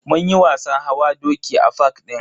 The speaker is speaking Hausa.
Munyi wasan hawa doki a fak din.